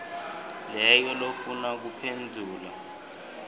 leyo lofuna kuphendvula